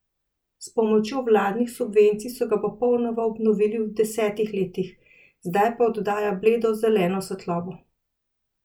S pomočjo vladnih subvencij so ga popolnoma obnovili v devetdesetih letih, zdaj pa oddaja bledo zeleno svetlobo.